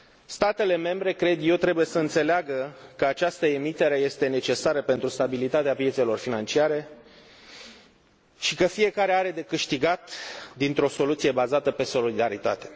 Statele membre, cred eu, trebuie să înțeleagă că această emitere este necesară pentru stabilitatea piețelor financiare și că fiecare are de câștigat dintr o soluție bazată pe solidaritate.